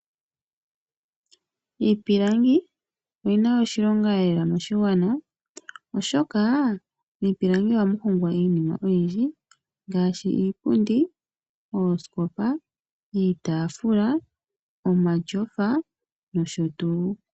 Iipilangi oyina oshilonga lela moshigwana oshoka miipilangi ohamu hongwa iinima oyindji ngaashi iipundi, iitafula, oosikopa, omatyofa nosho tuu.